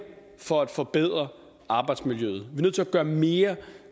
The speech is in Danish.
for at forbedre arbejdsmiljøet at er nødt til at gøre mere